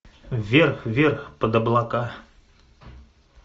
вверх вверх под облака